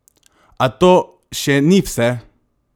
A to še ni vse!